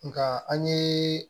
Nka an ye